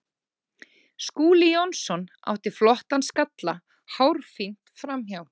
Skúli Jónsson átti flottan skalla hárfínt framhjá.